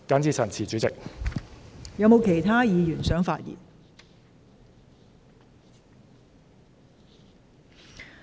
是否有其他議員想發言？